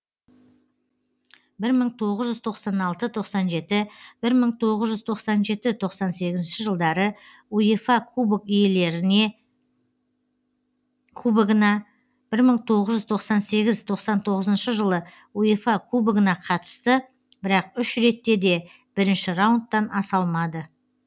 бір мың тоғыз жүз тоқса алты тоқсан жеті бір мың тоғыз жүз тоқсан жеті тоқсан сегізінші жылдары уефа кубок иелеріне кубогына бір мың тоғыз жүз тоқсан сегіз тоқсан тоғызыншы жылы уефа кубогына қатысты бірақ үш ретте де бірінші раундтан аса алмады